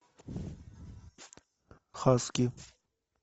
хаски